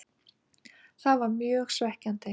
Það var mjög svekkjandi.